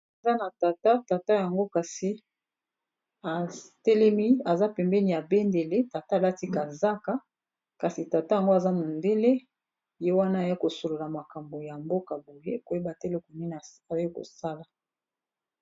aza na tata tata yango kasi atelemi aza pembeni ebendele tata alatikazaka kasi tata yango aza mondele ye wana aya kosolola makambo ya mboka boye koyeba telekonine ai kosala